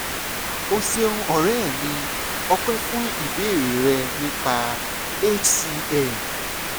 o ṣeun ọ̀rẹ́ mi ọ̀pẹ́ fún ìbéèrè rẹ nípa hcm